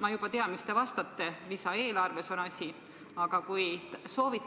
Ma juba tean, mis te vastate – asi on lisaeelarves –, aga kui oleks soovi,